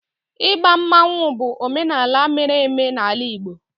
igba mmanwu bụ omenala mere eme n'ala Igbo